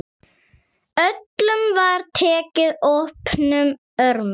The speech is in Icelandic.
Öllum var tekið opnum örmum.